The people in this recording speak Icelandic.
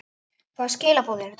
Hvaða skilaboð eru þetta?